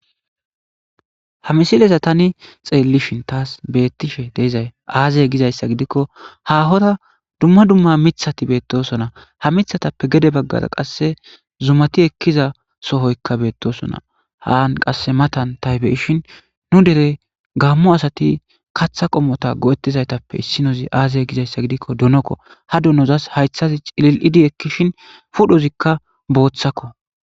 Ha misiliza tani xeelishen tasi beethishe de'izay aaze gizaysa gidiko hahora duma duma mithati beethisona ha mithatappe gede bagara qase zumati ekiza sohoyka beetosona. han qase matan ta be'ishin nu dere gamo asati katha qomota go'etizaytape isinozi aze gizaysa gidiko donoko. ha donos haythazi cilil'idi ekishin, pudhozika boothako